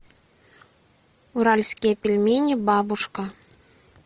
уральские пельмени бабушка